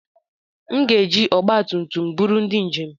M ga-eji ọgba tum tum m buru ndị njem.